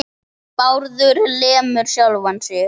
Bárður lemur sjálfan sig.